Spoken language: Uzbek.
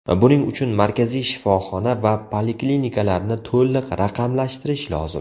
Buning uchun markaziy shifoxona va poliklinikalarni to‘liq raqamlashtirish lozim.